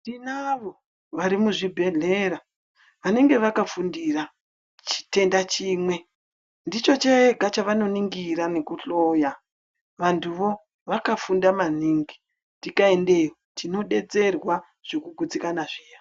Tinavo vari muzvibhehleya vanenge vakafundira chitenda chimwe ndicho chega chavanoningira kuhloya vantuvo vakafunda maningi tikaendayo tinodetserwa zvikugutsikana zviya.